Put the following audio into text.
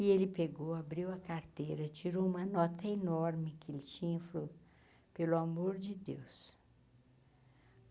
E ele pegou, abriu a carteira, tirou uma nota enorme que ele tinha, e falou, pelo amor de Deus.